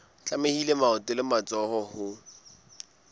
tlamehile maoto le matsoho ho